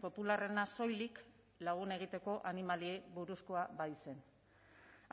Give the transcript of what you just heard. popularrena soilik lagun egiteko animaliei buruzkoa baitzen